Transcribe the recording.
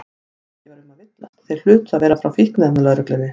Ekki var um að villast, þeir hlutu að vera frá Fíkniefnalögreglunni.